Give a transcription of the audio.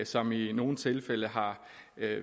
som i i nogle tilfælde har